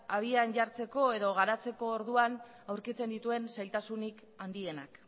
abian jartzeko edo garatzeko orduan aurkitzen dituen zailtasunik handienak